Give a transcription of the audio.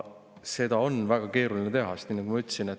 Seda on väga keeruline teha.